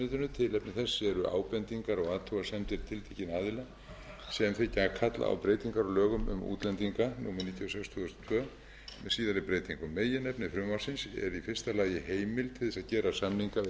eru ábendingar og athugasemdir tiltekinna aðila sem þykja kalla á breytingar á lögum um útlendinga númer níutíu og sex tvö þúsund og tvö með síðari breytingum meginefni frumvarpsins eru í fyrsta lagi heimild til þess að gera samninga við